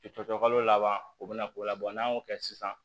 Cɔcɔ kalo laban o be na k'o labɔ n'an y'o kɛ sisan